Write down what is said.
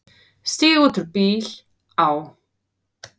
Stíg út úr bíl, á.